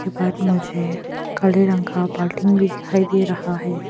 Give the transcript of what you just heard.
मुझे काले रंग का बाल्टी भी दिखाई दे रहा है।